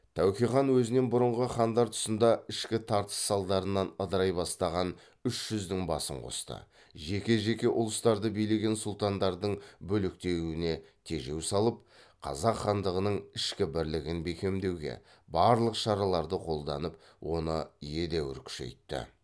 тәуке хан өзінен бұрынғы хандар тұсында ішкі тартыс салдарынан ыдырай бастаған үш жүздің басын қосты жеке жеке ұлыстарды билеген сұлтандардың бөлектенуіне тежеу салып қазақ хандығының ішкі бірлігін бекемдеуге барлық шараларды қолданып оны едәуір күшейтті